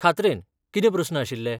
खात्रेन, कितें प्रस्न आशिल्ले?